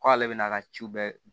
K'ale bɛ n'a ka ci bɛɛ